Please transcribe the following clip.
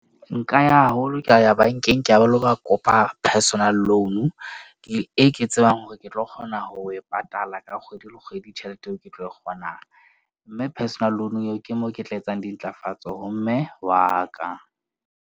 Nka ya haholo ka ya bank-eng ka lo ba kopa personal loan-u, e ke tsebang hore ke tlo kgona ho e patala ka kgwedi le kgwedi, tjhelete eo ke tlo kgonang. Mme personal loan eo ke mo ke tla etsang dintlafatso ho mme wa ka.